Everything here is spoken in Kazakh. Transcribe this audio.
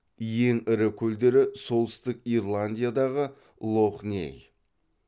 ең ірі көлдері солтүстік ирландиядағы лох ней